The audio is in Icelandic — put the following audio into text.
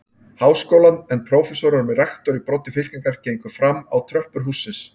Háskólann, en prófessorar með rektor í broddi fylkingar gengu fram á tröppur hússins.